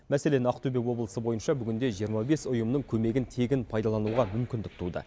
мәселен ақтөбе облысы бойынша бүгінде жиырма бес ұйымның көмегін тегін пайдалануға мүмкіндік туды